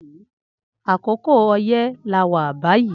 Akòkò ọyẹ là wà bàyí